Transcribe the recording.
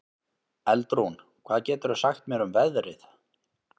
Eldrún, hvað geturðu sagt mér um veðrið?